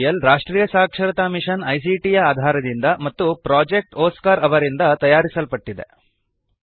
ಈ ಟ್ಯುಟೋರಿಯಲ್ ರಾಷ್ಟ್ರೀಯ ಸಾಕ್ಷರತಾ ಮಿಶನ್ ಐಸಿಟಿ ಯ ಆಧಾರದಿಂದ ಮತ್ತು ಪ್ರೊಜೆಕ್ಟ್ ಒಸ್ಕಾರ್ ಅವರಿಂದ ತಯಾರಿಸಲ್ಪಟ್ಟಿದೆ